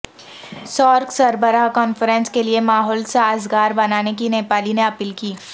SAARC سربراہ conference کیلئے ماحول سازگاربنانے کی نیپال نے اپیل کی